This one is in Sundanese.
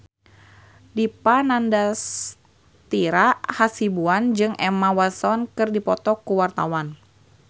Dipa Nandastyra Hasibuan jeung Emma Watson keur dipoto ku wartawan